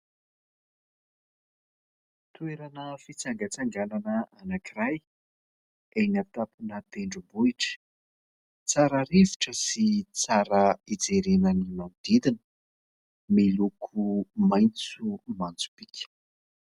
Toerana fitsangatsanganana anankiray, eny an-tampona tendrombohitra. Tsara rivotra sy tsara ijerena ny manodidina, miloko maitso manjopiaka.